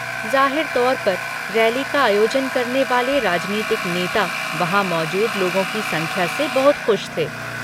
जाहिर तौर पर, रैली का आयोजन करने वाले राजनीतिक नेता वहाँ मौजूद लोगों की संख्या से बहुत खुश थे।